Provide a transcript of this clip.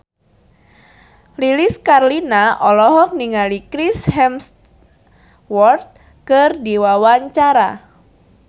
Lilis Karlina olohok ningali Chris Hemsworth keur diwawancara